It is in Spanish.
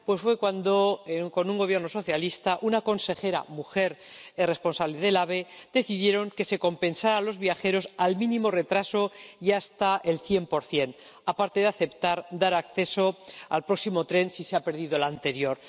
Pues fue cuando, con un Gobierno socialista, una consejera, mujer, y el responsable del AVE decidieron que se compensara a los viajeros por el mínimo retraso y hasta el 100 aparte de aceptar dar acceso al próximo tren si se había perdido el anterior.